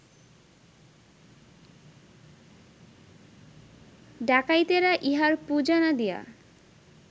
ডাকাইতেরা ইঁহার পূজা না দিয়া